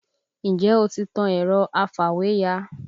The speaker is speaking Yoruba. Ǹjẹ́ o ti tan ẹ̀rọ afàwéya?